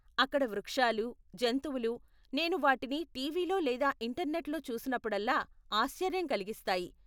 అక్కడ వృక్షాలూ, జంతువులూ, నేను వాటిని టీవీలో లేదా ఇంటర్నెట్లో చూసినప్పుడల్లా ఆశ్చర్యం కలిగిస్తాయి.